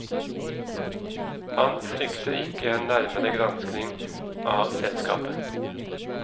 Han frykter ikke en nærmere gransking av selskapet.